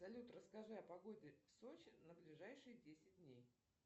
салют расскажи о погоде в сочи на ближайшие десять дней